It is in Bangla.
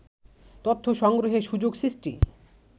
তথ্য সংগ্রহে সুযোগ সৃষ্টি